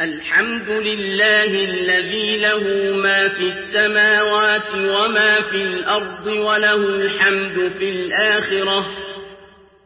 الْحَمْدُ لِلَّهِ الَّذِي لَهُ مَا فِي السَّمَاوَاتِ وَمَا فِي الْأَرْضِ وَلَهُ الْحَمْدُ فِي الْآخِرَةِ ۚ